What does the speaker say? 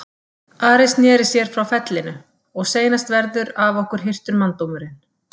Ari sneri sér frá fellinu:-Og seinast verður af okkur hirtur manndómurinn.